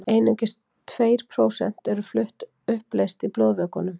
einungis tveir prósent eru flutt uppleyst í blóðvökvanum